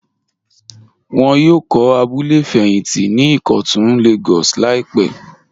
Wọ́n yóò kọ̀ abúlẹ̀ fẹyíntí ní Ikọ́tun Lagos laípè.